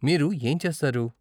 మీరు ఏం చేస్తారు?